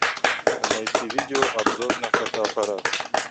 найти видео обзор на фотоаппараты